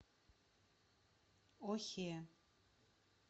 охе